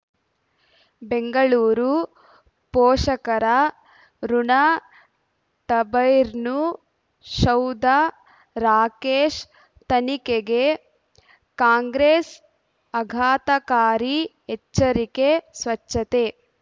ಬೆಂಗಳೂರು ಪೋಷಕರಋಣ ಟಬೈರ್ನು ಸೌಧ ರಾಕೇಶ್ ತನಿಖೆಗೆ ಕಾಂಗ್ರೆಸ್ ಆಘಾತಕಾರಿ ಎಚ್ಚರಿಕೆ ಸ್ವಚ್ಛತೆ